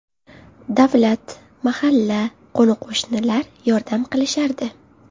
Davlat, mahalla, qo‘ni-qo‘shnilar yordam qilishardi.